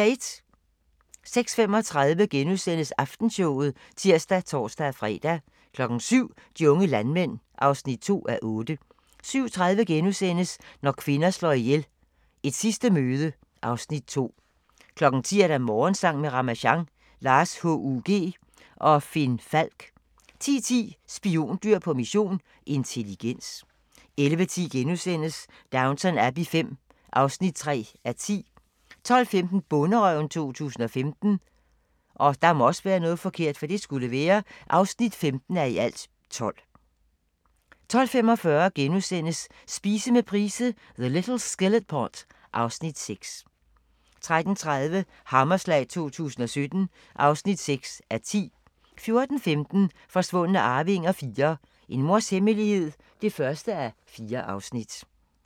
06:35: Aftenshowet *(tir og tor-fre) 07:00: De unge landmænd (2:8) 07:30: Når kvinder slår ihjel - Et sidste møde (Afs. 2)* 10:00: Morgensang med Ramasjang | Lars H.U.G. og Finn Falk 10:10: Spiondyr på mission – intelligens 11:10: Downton Abbey V (3:10)* 12:15: Bonderøven 2015 (15:12) 12:45: Spise med Price - The little skillet pot (Afs. 6)* 13:30: Hammerslag 2017 (6:10) 14:15: Forsvundne arvinger IV - En mors hemmelighed (1:4)